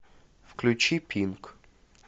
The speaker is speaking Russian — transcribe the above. включи пинк